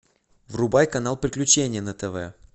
врубай канал приключения на тв